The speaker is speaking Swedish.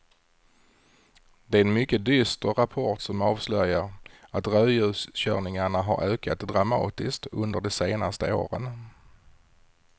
Det är en mycket dyster rapport som avslöjar att rödljuskörningarna har ökat dramatiskt under de senaste åren.